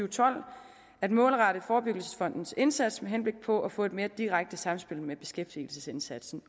og tolv at målrette forebyggelsesfondens indsats med henblik på at få et mere direkte sammenspil med beskæftigelsesindsatsen